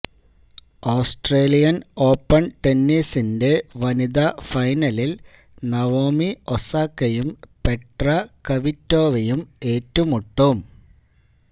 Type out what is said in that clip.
Australian open ടെന്നിസിന്റെ വനിതാ ഫൈനലില് നവോമി ഒസാക്കയും പെട്ര കവിറ്റോവയും ഏറ്റുമുട്ടും